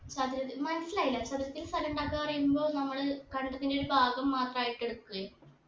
ചതുരത്തിൽ മനസ്സിലായില്ല ചതുരത്തിൽ സ്ഥലുണ്ടാക്ക പറയുമ്പോ നമ്മൾ കണ്ടത്തിന്റെ ഒരു ഭാഗം മാത്രായിട്ട് എട്കെ